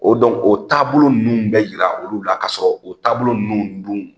O dɔn o taabolo nunnu bɛ yira olu la kasɔrɔ o taabolo nunnu dun